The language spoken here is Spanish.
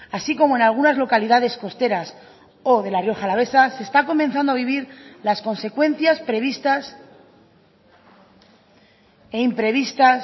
así como en algunas localidades costeras o de la rioja alavesa se está comenzando a vivir las consecuencias previstas e imprevistas